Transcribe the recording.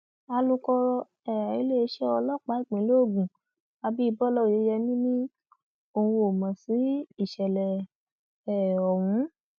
alukoro um iléeṣẹ ọlọpàá ìpínlẹ ogun abibọlá oyeyèmí ni òun ò mọ sí ìṣẹlẹ um ọhún